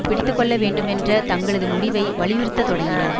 பிடித்துக்கொள்ள வேண்டுமென்ற தங்களது முடிவை வலியுறுத்த தொடங்கினர்